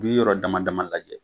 Ni yɔrɔ dama dama lajɛ.